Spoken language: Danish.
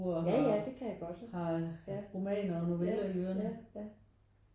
Ja ja det kan jeg godt ja ja ja